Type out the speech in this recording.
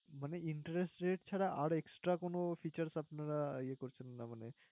মানে interest rate ছাড়া আর extra কোন features আপনারা ইয়ে করছেন না মানে,